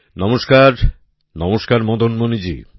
নমস্কার নমস্কার মদন মণিজী